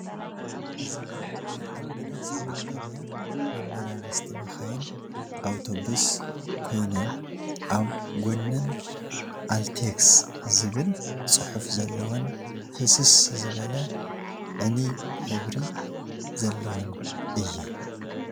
እዚአን ናይ አልመዳ ሰራሕተኛ መመላለስቲ መካይን (አብተውስ) ኮይነን አብ ጎነን አልቴክስ ዝብል ፅሑፍ ዘለወን ህስስ ዝበለ ዕንይ ሕብሪ ዘለወን እየን፡፡